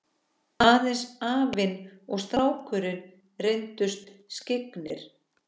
Aðeins afinn og strákurinn reyndust skyggnir.